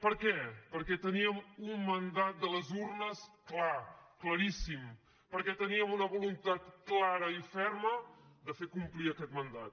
per què perquè tenim un mandat de les urnes clar claríssim perquè teníem una voluntat clara i ferma de fer complir aquest mandat